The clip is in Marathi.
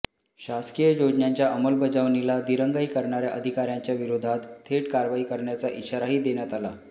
शासकीय योजनांच्या अंमलबजावणीला दिरंगाई करणाऱ्या अधिकाऱ्यांच्या विरोधात थेट कारवाई करण्याचा इशाराही देण्यात आला